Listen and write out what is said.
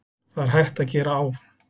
Það er hægt að gera á